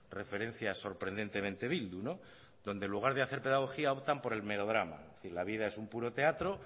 referencia sorprendentemente bildu no donde en lugar de hacer pedagogía optan por el melodrama es decir la vida es un puro teatro